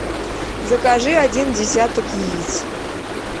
закажи один десяток яиц